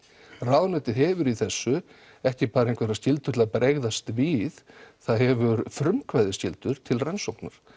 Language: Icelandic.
ráðuneytið hefur í þessu ekki bara einhverjar skyldur til að bregðast við það hefur frumkvæðisskyldu til rannsóknar